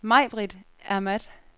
Majbrit Ahmad